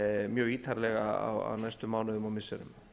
mjög ítarlega á næstu mánuðum og missirum